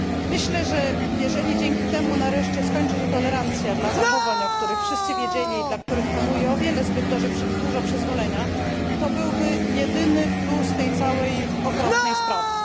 Myślę, że jeżeli dzięki temu nareszcie skończy się tolerancja dla zachowań, o których wszyscy wiedzieli i dla których panuje o wiele za dużo przyzwolenia, to byłby to jedyny plus tej całej okropnej sprawy.